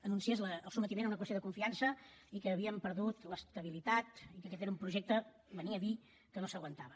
anunciés el sotmetiment a una qüestió de confiança i que havíem perdut l’estabilitat i que aquest era un projecte venia a dir que no s’aguantava